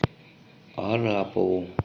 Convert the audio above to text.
арапову